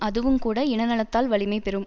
அதுவுங்கூட இன நலத்தால் வலிமை பெறும்